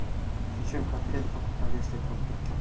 зачем в коктейле покупай если друг